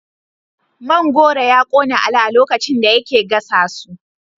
Man goro ya kona Ali a lokacin da yake gasa su